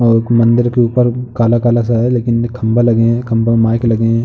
एक मंदिर के ऊपर काला-काला सा है लेकिन खम्भा लगे हैं। खम्भा में माइक लगे हैं।